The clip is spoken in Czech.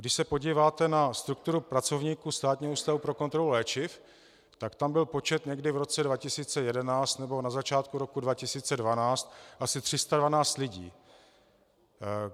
Když se podíváte na strukturu pracovníků Státního ústavu pro kontrolu léčiv, tak tam byl počet někdy v roce 2011 nebo na začátku roku 2012 asi 312 lidí.